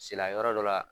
Sela yɔrɔ dɔ la